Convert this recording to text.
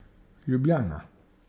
Ljubljana.